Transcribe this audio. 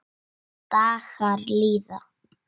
Dagar líða.